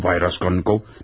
Nə oldu Bay Raskolnikov?